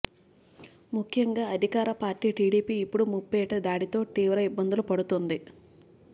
ముఖ్యంగా అధికార పార్టీ టిడిపి ఇప్పుడు ముప్పేట దాడి తో తీవ్ర ఇబ్బందులు పడుతుంది